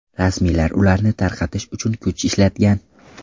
Rasmiylar ularni tarqatish uchun kuch ishlatgan.